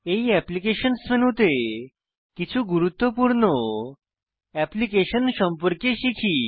এই অ্যাপ্লিকেশনস মেনুতে কিছু গুরুত্বপূর্ণ অ্যাপ্লিকেশন সম্পর্কে শিখি